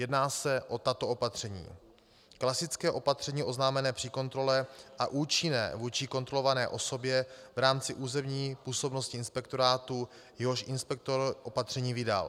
Jedná se o tato opatření: Klasické opatření oznámené při kontrole a účinné vůči kontrolované osobě v rámci územní působnosti inspektorátu, jehož inspektor opatření vydal.